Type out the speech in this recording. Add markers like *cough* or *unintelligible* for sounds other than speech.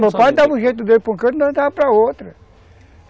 Meu pai dava um jeito dele para *unintelligible* outra